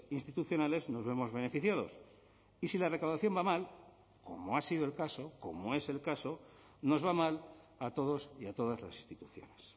institucionales nos vemos beneficiados y si la recaudación va mal como ha sido el caso como es el caso nos va mal a todos y a todas las instituciones